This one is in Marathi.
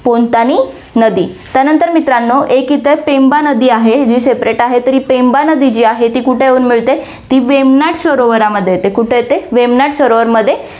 पोनतानी नदी, त्यानंतर मित्रांनो, एक इथ पेंबा नदी आहे, जी Separate आहे, तरी पेंबा नदी आहे जी आहे ती कुठे येऊन मिळते? ती वेमनाथ सरोवरामध्ये येते, कुठे येते? वेमनाथ सरोवरामध्ये